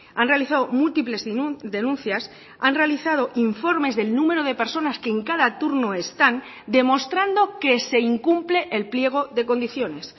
han realizado múltiples denuncias han realizado informes del número de personas que en cada turno están demostrando que se incumple el pliego de condiciones